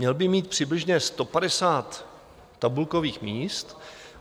Měl by mít přibližně 150 tabulkových míst.